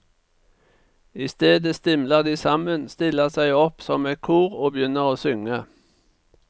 Istedet stimler de sammen, stiller seg opp som et kor og begynner å synge.